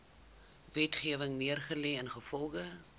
wetgewing neergelê ingevolge